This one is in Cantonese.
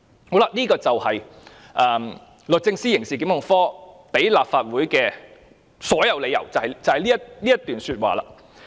"上述便是律政司刑事檢控科向立法會提出的所有理由，便是這一段說話。